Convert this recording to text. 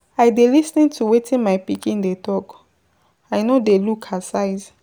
I dey lis ten to wetin my pikin dey talk, I no dey look her size.